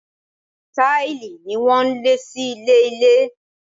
Táìlì ni wọ́n lẹ̀ sí ilẹ̀ ilé.